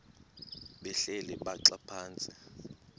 behleli bhaxa phantsi